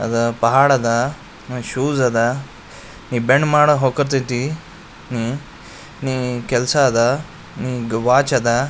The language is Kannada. ಅದ ಪಹಾಡದಾ. ಮ್ ಶೂಸ್ ಅದಾ. ನೀ ಬೆಂಡ್ ಮಾಡ ಹೋಕತೀತಿ. ನಿ ನೀ ಕೆಲ್ಸದ. ನಿಂಗ್ ವಾಚ್ ಅದಾ.